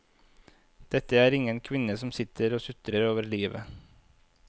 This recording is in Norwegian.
Dette er ingen kvinne som sitter og sutrer over livet.